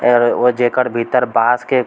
आरे ओ जेकर भीतर बांस के --